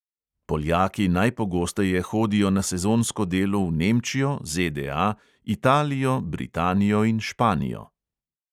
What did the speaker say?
Poljaki najpogosteje hodijo na sezonsko delo v nemčijo, ZDA, italijo, britanijo in španijo.